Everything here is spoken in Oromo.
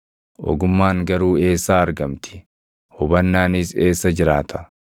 Ogummaan garuu eessaa argamti? Hubannaanis eessa jiraata?